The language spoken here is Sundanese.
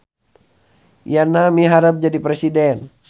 Yana miharep jadi presiden